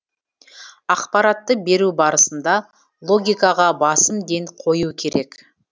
ақпаратты беру барысында логикаға басым ден қою керек